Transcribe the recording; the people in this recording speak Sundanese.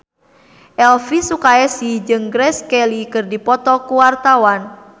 Elvy Sukaesih jeung Grace Kelly keur dipoto ku wartawan